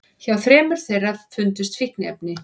Hjá þremur þeirra fundust fíkniefni